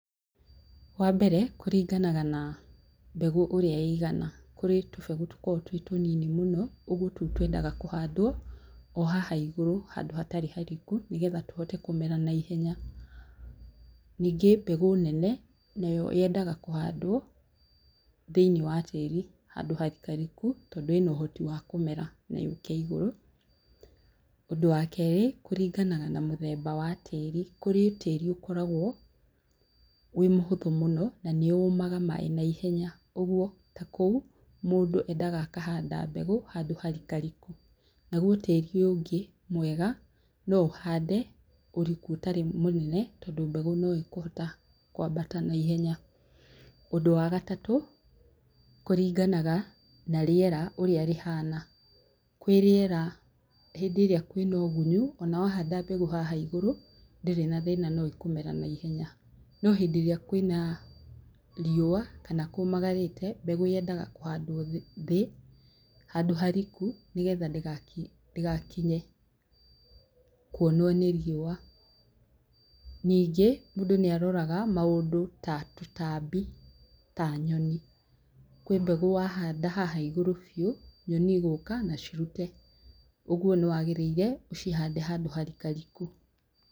Wa mbere, kũringanaga na mbegũ ũrĩa ĩigana, kũrĩ tũbegũ tũkoragwo twĩ tũnini mũno, ũguo tũu twendaga kũhandwo, o haha igũrũ, handũ hatarĩ hariku nĩgetha tũhote kũmera na ihenya. Ningĩ mbegũ nene, nayo yendaga kũhandwo, thĩinĩ wa tĩri, handũ harikariku, tondũ ĩna ũhoti wa kũmera na yũke igũrũ. ũndũ wa kerĩ, kũringanaga na mũthemba wa tĩri. Kũrĩ tĩri ũkoragwo wĩ mũhũthũ mũno na nĩ ũmaga maĩĩ na ihenya. ũguo ta kou, mũndũ endaga akahanda mbegũ handũ harikariku. Naguo tĩri ũyũ ũngĩ mwega, no ũhande ũriku ũtarĩ mũnene tondũ mbegũ no ĩkũhota kwambata na ihenya. ũndũ wa gatatu, kũringanaga na rĩera ũrĩa rĩhana. Kwĩ rĩera, hĩndĩ ĩrĩa kwĩna ũgunyu, o na wahanda mbegũ haha igũrũ, ndĩrĩ na thĩna no ĩkũmera na ihenya. No hĩndĩ ĩrĩa kwĩna riũa, kana kũmagarĩte, mbegũ yendaga kũhandwo thĩ handũ hariku, nĩgetha ndĩgakinye kuonwo nĩ riũa. Ningĩ mũndũ nĩaroraga maũndũ ta tũtambi ta nyoni. Kwĩ mbegũ wahanda haha igũrũ biũ, nyoni igũka na cirute. Ũguo nĩwagĩrĩire ũcihande handũ harikariku.